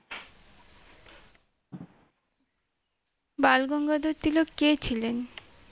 বালগঙ্গাধর তিলক কে ছিলেন?